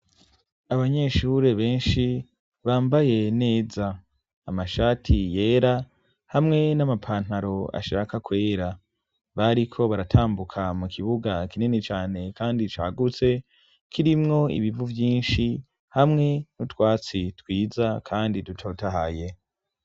Abanyeshure benshi bambaye neza amashati yera hamwe n'amapantaro ashaka kwera bariko baratambuka mu kibuga kinini cyane kandi cagutse kirimwo ibivu byinshi hamwe n'utwatsi twiza kandi dutotahaye .